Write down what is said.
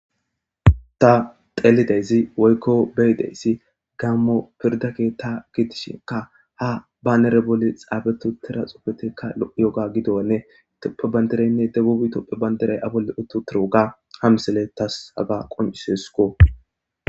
ta telidezi woykko beydeyssi gammo pirdake ta gitishinka ha baanere boli xaabetu tira xupetekka yoga gidonne toppe bandereynne debubi toppe banderey abolle uttu tiruga ha misele tas haga qoncisesko